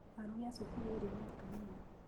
Arugi a cukuru ĩrĩa nĩ atumia.